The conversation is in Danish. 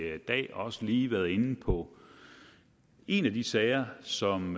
dag også lige været inde på en af de sager som